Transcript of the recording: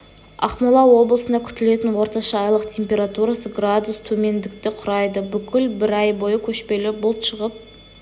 ақмола облысында күтілетін орташа айлық температурасы градус тқмендікті құрайды бүкіл бір ай бойы көшпелі бұлт шығып